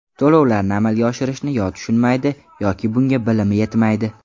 To‘lovlarni amalga oshirishni yo tushunmaydi, yoki bunga bilimi yetmaydi.